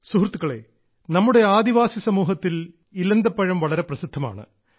സുഹൃത്തുക്കളെ നമ്മുടെ ആദിവാസി സമൂഹത്തിൽ ഇലന്തപ്പഴം വളരെ പ്രസിദ്ധമാണ്